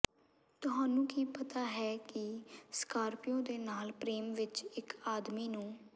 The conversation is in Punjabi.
ਤੁਹਾਨੂੰ ਕੀ ਪਤਾ ਹੈ ਕਿ ਸਕਾਰਪੀਓ ਦੇ ਨਾਲ ਪ੍ਰੇਮ ਵਿੱਚ ਇੱਕ ਆਦਮੀ ਨੂੰ